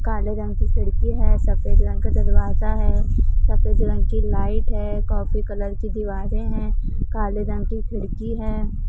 काले रंग की खिड़की है सफेद रंग का दरवाजा है सफेद रंग की लाइट है कॉफी कलर की दीवारें हैं काले रंग की खिड़की है।